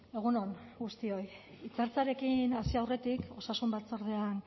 egun on guztioi hitz hartzearekin hasi aurretik osasun batzordean